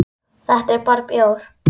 Þetta er bara bjór.